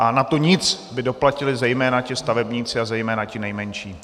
A na to nic by doplatili zejména ti stavebníci a zejména ti nejmenší.